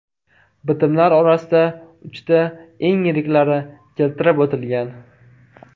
Bitimlar orasida uchta eng yiriklari keltirib o‘tilgan.